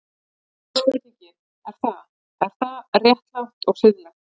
Og þá er spurningin, er það, er það réttlátt og siðlegt?